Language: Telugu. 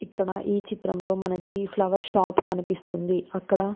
ఇక్కడ ఈ చిత్రం లో మనకి ఫ్లవర్స్ షాప్ కనిపిస్తుంది అక్కడ --